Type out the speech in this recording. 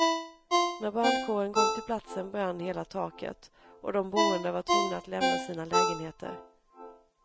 När brandkåren kom till platsen brann hela taket, och de boende var tvungna att lämna sina lägenheter.